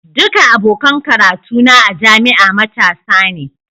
Duka abokan karatu na a jami'a matasa ne.